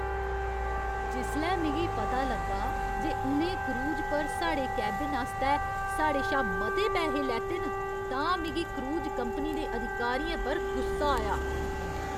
जिसलै मिगी पता लग्गा जे उ'नें क्रूज पर साढ़े केबिन आस्तै साढ़े शा मते पैहे लैते न तां मिगी क्रूज कंपनी दे अधिकारियें पर गुस्सा आया।